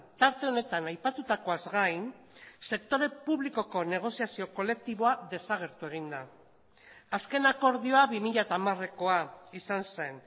tarte honetan aipatutakoaz gain sektore publikoko negoziazio kolektiboa desagertu egin da azken akordioa bi mila hamarekoa izan zen